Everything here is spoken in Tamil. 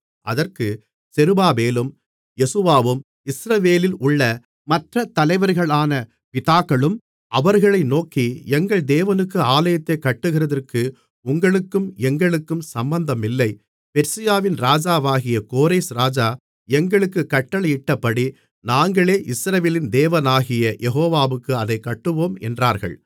அதற்கு செருபாபேலும் யெசுவாவும் இஸ்ரவேலில் உள்ள மற்ற தலைவர்களான பிதாக்களும் அவர்களை நோக்கி எங்கள் தேவனுக்கு ஆலயத்தைக் கட்டுகிறதற்கு உங்களுக்கும் எங்களுக்கும் சம்பந்தமில்லை பெர்சியாவின் ராஜாவாகிய கோரேஸ் ராஜா எங்களுக்குக் கட்டளையிட்டபடி நாங்களே இஸ்ரவேலின் தேவனாகிய யெகோவாவுக்கு அதைக் கட்டுவோம் என்றார்கள்